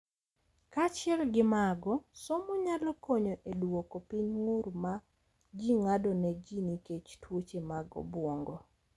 Kaachiel gi mago, somo nyalo konyo e duoko piny ng’ur ma ji ng’ado ne ji nikech tuoche mag obwongo,